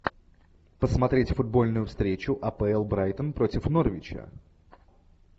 посмотреть футбольную встречу апл брайтон против норвича